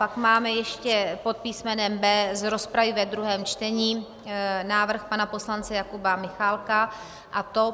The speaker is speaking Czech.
Pak máme ještě pod písmenem B z rozpravy ve druhém čtení návrh pana poslance Jakuba Michálka, a to: